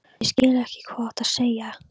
Ég skil, hvað þú átt við sagði ég.